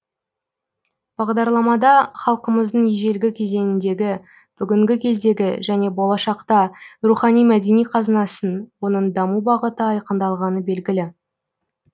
бағдарламада халқымыздың ежелгі кезеңіндегі бүгінгі кездегі және болашақта рухани мәдени қазынасын оның даму бағыты айқындалғаны белгілі